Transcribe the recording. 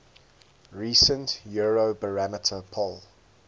recent eurobarometer poll